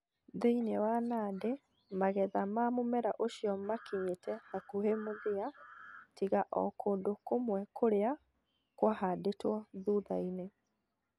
Thĩinĩ wa Nandi, magetha ma mũmera ũcio makinyĩte hakuhĩ mũthia, tiga o kũndũ kũmwe kũrĩa kũahaandĩtwo thutha-inĩ.